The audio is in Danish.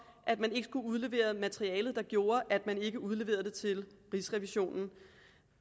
at man ikke skulle udlevere materialet der gjorde at man ikke udleverede det til rigsrevisionen